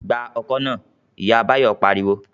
"Gba ọkọ́ náà!", Ìyá Báyọ̀ pariwo